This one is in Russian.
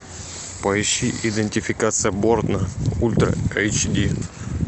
поищи идентификация борна ультра эйч ди